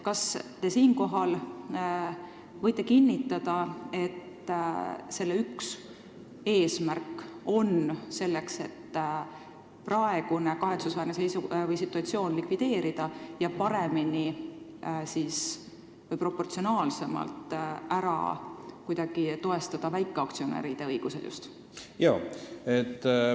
Kas te võite kinnitada, et selle üks eesmärke on likvideerida praegune kahetsusväärne situatsioon ja paremini või proportsionaalsemalt toestada just väikeaktsionäride õigusi?